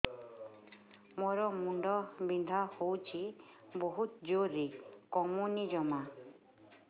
ମୋର ମୁଣ୍ଡ ବିନ୍ଧା ହଉଛି ବହୁତ ଜୋରରେ କମୁନି ଜମା